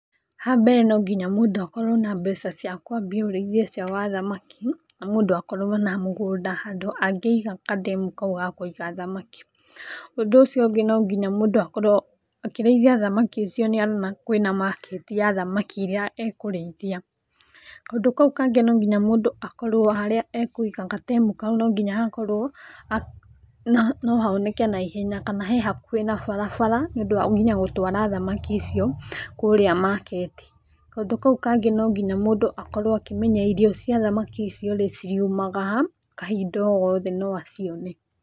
Ha mbere no nginya mũndũ akorwo na mbeca cia kũambia ũrĩithia ũcio wa thamaki na mũndũ akorwo na mũgũnda handũ angĩiga kandemu kau gakũiga thamaki. Ũndũ ũcio ũngĩ no nginya mũndũ akorwo akĩrĩithia thamaki icio nĩ arona kwĩna market ya thamaki irĩa ekũrĩithia. Kaũndũ kau kangĩ no nginya mũndũ akorwo harĩa ekũiga gatemu kaũ no nginya hakorwo no honeke na ihenya kana he hakuhĩ na barabara tondũ nĩundũ wa nginya gũtwara thamaki icio kũrĩa market. Kaũndũ kaũ kangĩ no nginya mũndũ akorwo akĩmenya irio cia thamaki icio ciriumaga ha, kahinda o gothe no acione.